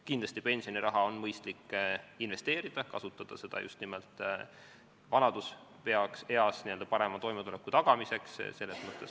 Kindlasti on pensioniraha mõistlik investeerida, kasutada seda just nimelt vanaduses parema toimetuleku tagamiseks.